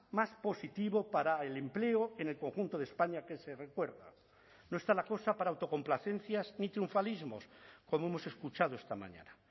más positivo para el empleo en el conjunto de españa que se recuerda no está la cosa para autocomplacencias ni triunfalismos como hemos escuchado esta mañana